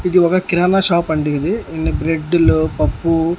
ఇది ఒక కిరాణా షాప్ అండి ఇది ఇన్ని బ్రెడ్డు లో పప్పు--